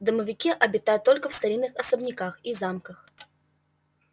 домовики обитают только в старинных особняках и замках